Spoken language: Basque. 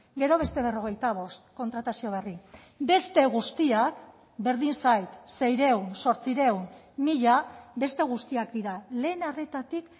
gero beste berrogeita bost kontratazio berri beste guztiak berdin zait seiehun zortziehun mila beste guztiak dira lehen arretatik